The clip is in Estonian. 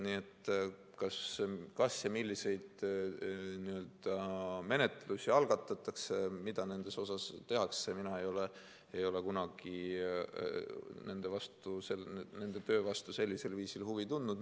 Nii et kas ja milliseid menetlusi algatatakse, mida nendes asjades tehakse – mina ei ole kunagi nende töö vastu sellisel viisil huvi tundnud.